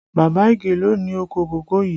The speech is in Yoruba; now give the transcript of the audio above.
Baba Ige ló ni oko kòkó yii